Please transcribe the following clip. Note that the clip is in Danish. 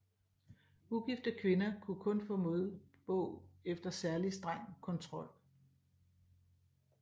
Ugifte kvinder kunne kun få modbog efter særlig streng kontrol